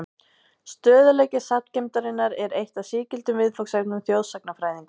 Stöðugleiki sagngeymdarinnar er eitt af sígildum viðfangsefnum þjóðsagnafræðinga.